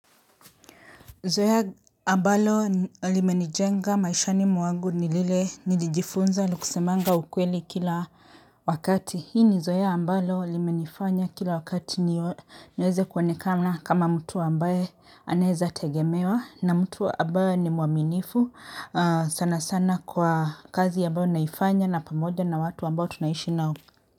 Zorya ambalo limenijenga maishani mwagu ni lile nilijifunza ni kusemanga ukweli kila wakati. Hii ni zoeya ambalo limenifanya kila wakati niweze kuonekana kama mtu ambaye aneeza tegemewa na mtu wa ambaye ni mwaminifu sana sana kwa kazi ambayo naifanya na pamoja na watu ambayo tunaishi nao.